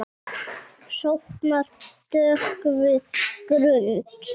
Sofnar döggvuð grund.